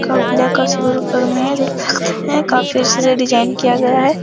Cup black और silver colour में है। देख सकते हैं काफी अच्छे से डिजाईन किया गया है।